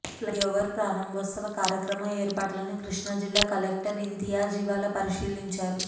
flyover ప్రారంభోత్సవ కార్యక్రమ ఏర్పాట్లను కృష్ణా జిల్లా కలెక్టర్ ఇంతియాజ్ ఇవాళ పరిశీలించారు